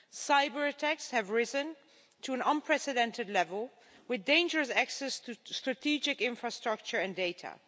Cyber-attacks have risen to an unprecedented level, with dangerous access to strategic infrastructure and data.